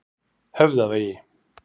Höfðavegi